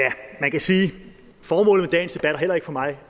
kan sige at formålet med dagens debat heller ikke for mig